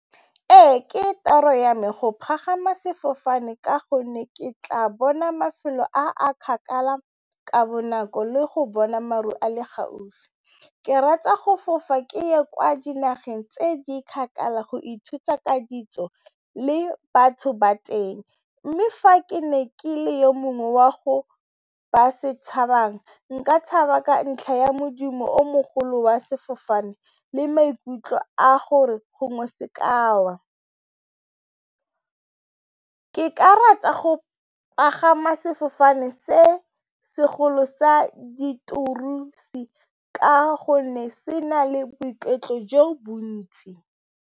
Ee, ke toro ya me go palama sefofane ka gonne ke tla bona mafelo a a kgakala le go bona maru a le gaufi. Ke rata go fofa ke ye kwa nageng tse di kgakala go ithuta ditso le batho ba teng mme fa ke ne ke le yo mongwe wa go ba se tshabang, nka tshaba ka ntlha ya modumo o mogolo wa sefofane le maikutlo a gore gongwe se ka wa. Ke rata go palama sefofane sa ka hobane se na le gontsi.